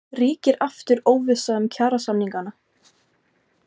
Ríkir aftur óvissa um kjarasamningana?